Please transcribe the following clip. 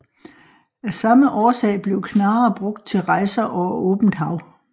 Af samme årsag blev knarrer brugt til rejser over åbent hav